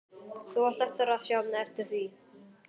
Þú átt eftir að sjá eftir því!